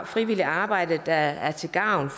frivillige arbejde der er til gavn